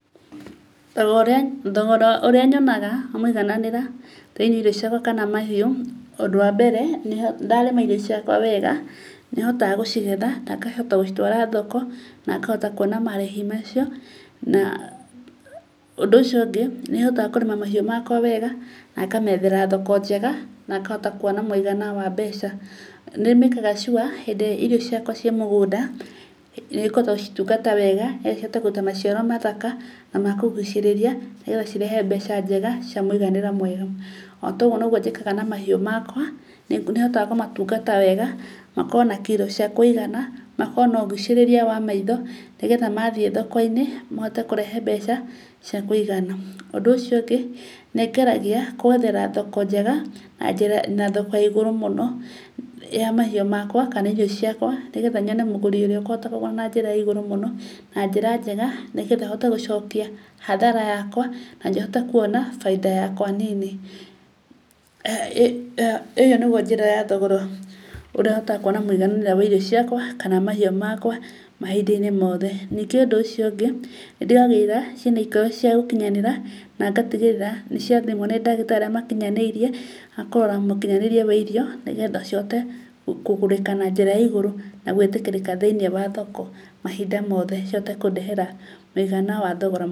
Thogora ũrĩa nyonaga mũigananĩra thĩ-inĩ wa irio ciakwa kana mahiũ; ũndũ wa mbere, ndarĩma irio ciakwa wega nĩhotaga gũcigetha na ngahota gũcitwara thoko, na ngahota kũona marĩhi macio. Na ũndũ ũcio ũngĩ, nĩ hotaga kũrĩma mahiũ makwa wega, na ngamethera thoko njega na ngahota kũona mũigana wa mbeca. Nĩ make aga sure hĩndĩ ĩrĩa irio ciakwa cia mũgũnda nĩ ngũhota gũcitungata wega, nĩ getha cihote kũruta maciaro mathaka na makũgucĩrĩria, nĩ getha cirehe mbeca njega, cia mũiganĩra mwega. Otogwo nogwo njĩkaga na mahiũ makwa. Nĩhotaga kũmatungata wega, na ũkorwo na kirũ cia kũigana, na ũkorwo na ũgucĩrĩria wa maitho nĩ getha mathiĩ thoko-inĩ mahote kũrehe mbeca cia kũigana. Ũndũ ũcio ũngĩ nĩngeragia gwethera thoko njega, na thoko ĩĩ igũrũ mũno ya mahiũ makwa kana irio ciakwa nĩ getha nyone mũgũri ũrĩa ũkũhota kũgũra na njĩra ya igũrũ mũno, na njĩra njega nĩ getha hote gũcokia hathara yakwa, na hote kũona baida yakwa nini. Eeh Ĩyo nĩgwo njĩra ya thogora ũrĩa hotaga kũona mũigananĩra wa irio ciakwa kana mahiũ makwa mahinda-inĩ mothe. Ningĩ ũndũ ũcio ũngĩ, nĩndigagĩrĩra ciĩ na ikĩro cia gũkinyanĩra na ngatigĩrĩra nĩ ciathimwo nĩ ndagĩtarĩ arĩa makinyanĩirie a kũrora mũkinyanĩrie wa irio nĩ getha cihote kũgũrĩka na njĩra ya igũrũ, na gwĩtĩkĩrĩka thĩ-inĩ wa thoko. Mahinda mothe cihote kũndehera mũigana wa thogora.